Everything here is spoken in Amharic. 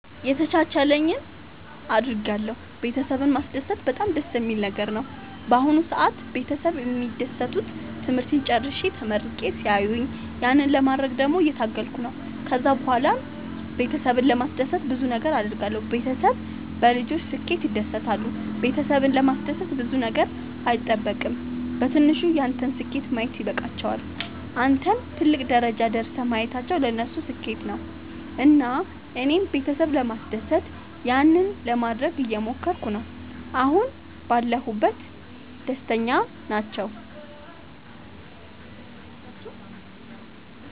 የተቻለኝን አደርጋለሁ ቤተሰብን ማስደሰት በጣም ደስ የሚል ነገር ነው። በአሁን ሰአት ቤተሰብ የሚደሰቱት ትምህርቴን ጨርሼ ተመርቄ ሲያዩኝ ያንን ለማድረግ ደግሞ እየታገልኩ ነው። ከዛ ብኋላም ቤተሰብን ለማስደሰት ብዙ ነገር አድርጋለሁ። ቤተሰብ በልጆች ስኬት ይደሰታሉ ቤተሰብን ለማስደሰት ብዙ ነገር አይጠበቅም በትንሹ ያንተን ስኬት ማየት ይበቃቸዋል። አንተን ትልቅ ደረጃ ደርሰህ ማየታቸው ለነሱ ስኬት ነው። እና እኔም ቤተሰብ ለማስደሰት ያንን ለማደረግ እየሞከርኩ ነው አሁን ባለሁበት ደስተኛ ናቸው።